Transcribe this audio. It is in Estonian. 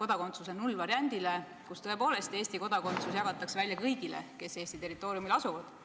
kodakondsuse nullvariandile, mille kohaselt tõepoolest Eesti kodakondsus antakse kõigile, kes Eesti territooriumil elavad.